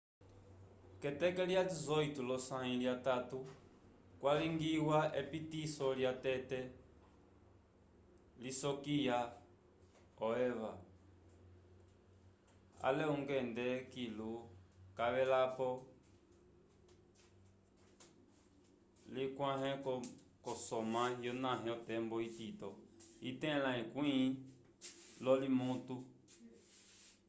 k'eteke lya 18 lyosãyi lyatatu kwalingiwa epitiso lyatete lisokiya o eva ale ungende kilu cavelapo likawãhe k'osamwa yonave otembo itito itẽla ekwĩ lyolominutu